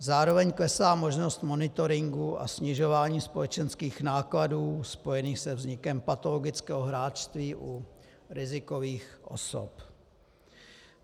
Zároveň klesá možnost monitoringu a snižování společenských nákladů spojených se vznikem patologického hráčství u rizikových osob.